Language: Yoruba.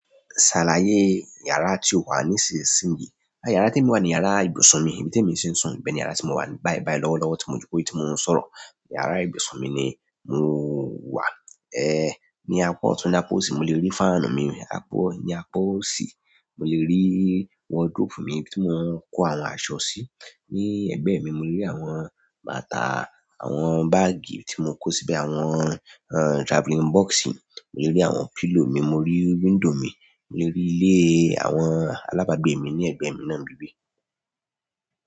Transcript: Ṣàlàyé yàrá tí o wà nísinsìnyí. À yàrá tí èmi wà ní yàrá ibùsùn mi, ibi tí èmi ti ń sùn. Bẹ́ẹ̀ni yàrá tí mo wà ní, báibái lọ́wọ́lọ́wọ́ tí mo jòkó yìí tí mo ń sọ̀rọ̀. Yàrá ibùsùn mi ni mo wà. Ní apá ọ̀tún ní apá òsì mo le rí fáànù mi apá, ní apá òsì, mo lè rí wọdróòpù mi tí mo ń kó àwọn aṣọ sí. Ní ẹ̀gbẹ́ mi le rí àwọn bàtà, àwọn báàgì tí mo kó síbẹ̀, àwọn traveling box. Mo le rí àwọn pílòò mi, mo rí window mi, mo rí ilé àwọn alábàgbé mi ní ẹ̀gbẹ́ mi náà níbi ibí.